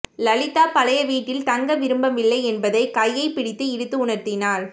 லலிதா பழைய வீட்டில் தங்க விரும்பவில்லை என்பதை கையைப் பிடித்து இழுத்து உணர்த்தினாள்